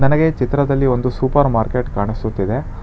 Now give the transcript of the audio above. ನನಗೆ ಚಿತ್ರದಲ್ಲಿ ಒಂದು ಸೂಪರ್ ಮಾರ್ಕೆಟ್ ಕಾಣಿಸುತ್ತಿದೆ.